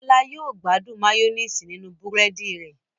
Bola yíò gbádùn Mayonnaise ninu búrẹ́dì rẹ̀.